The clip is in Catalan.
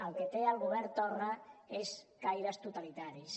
el que té el govern torra són caires totalitaris